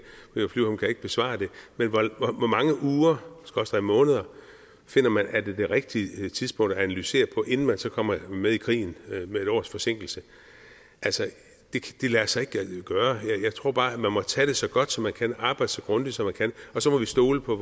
besvare det men hvor mange uger skråstreg måneder finder man er det rigtige tidspunkt at analysere på inden man så kommer med i krigen med et års forsinkelse altså det lader sig ikke gøre jeg tror bare at man må tage det så godt som man kan og arbejde så grundigt som man kan og så må vi stole på